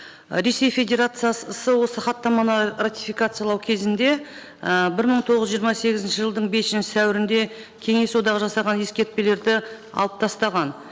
ы ресей федерациясы осы хаттаманы ратификациялау кезінде і бір мың тоғыз жирыма сегізінші жылдың бесінші сәуірінде кеңес одағы жасаған ескертпелерді алып тастаған